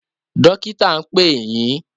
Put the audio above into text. Dọ́kítà ń pè yín.